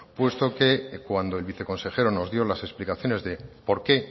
puesto que cuando el viceconsejero nos dio las explicaciones de por qué